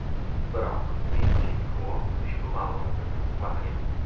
Biroq Min-Chi Kuo ushbu ma’lumotni tasdiqlamagan.